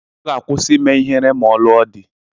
Ọ ga-akwụsị ime ihere ma ọ lụọ di.